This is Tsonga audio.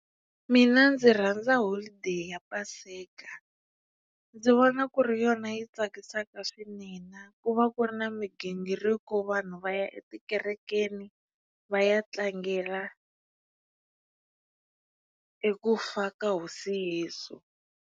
Mina ndzi rhandza holiday ya paseka ndzi vona ku ri yona yi tsakisaka swinene ku va ku ri na migingiriko vanhu va ya etikerekeni va ya tlangela eku fa ka hosi Yesu.